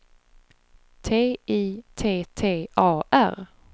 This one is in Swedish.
T I T T A R